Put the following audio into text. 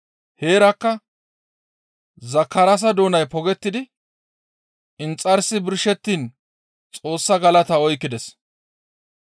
Heerakka Zakaraasa doonay pogettidi inxarsi birshettiin Xoossaa galata oykkides.